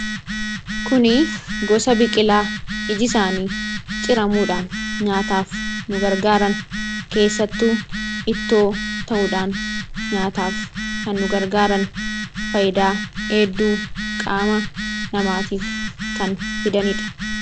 Kunii gosa biqilaa iji isaanii ciramuudhaan nyaataaf nu gargaaraan, keessattuu ittoo ta'uudhaan nyaataaf kan nu gargaaran fayidaa hedduu qaama namaatiif kan fidanidha.